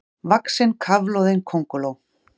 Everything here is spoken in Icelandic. vaxin kafloðin könguló.